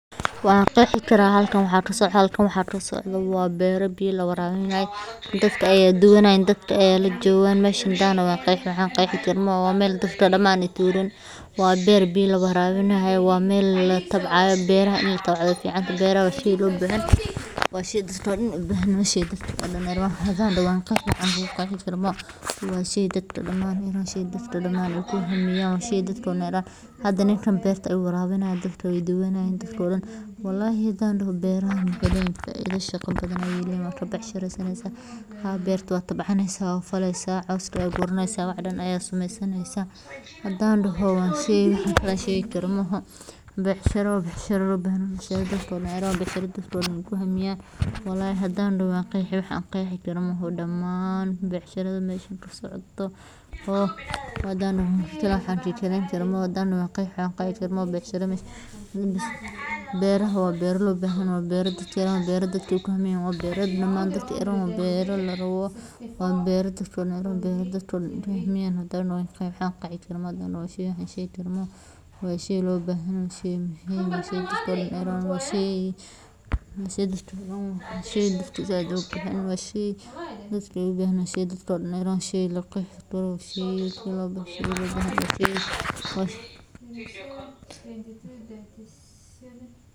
Waraabinta dhirta waa hawl aad muhiim u ah oo lagu xaqiijiyo koritaanka caafimaadka leh ee geedaha, maadaama biyuhu yihiin laf-dhabarta nolosha dhirta, iyadoo ay lagama maarmaan tahay in la ogaado nooca dhirta la waraabinayo, xaaladda cimilada deegaanka, nooca ciidda, iyo inta biyo ee dhirtaasi u baahan tahay si aysan u engegin ama biyo u badin; tusaale ahaan, dhirta caleen ballaaran leh waxay u baahan yihiin biyo badan marka loo eego kuwa caleemaha yaryar leh, iyadoo habka ugu habboon ee waraabintu uu yahay in la sameeyo aroortii hore ama galabnimadii marka qorraxdu aysan kululayn, si biyuhu aysan si dhaqso ah ugu ururin dhulka, taas oo siisa dhirta waqti ay si tartiib ah ugu nuugaan biyaha.